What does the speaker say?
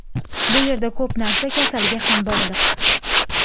Bu yerda ko‘p narsa kasalga ham bog‘liq.